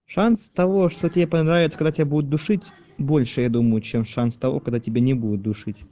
шанс того что тебе понравится когда тебя будут душить больше я думаю чем шанс того когда тебя не будет душить